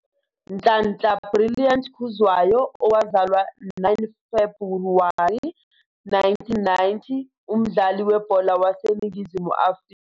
Nhlanhla Brilliant Khuzwayo, owazalwa 9 Febhuwari 1990, umdlali webhola waseNingizimu Afrika.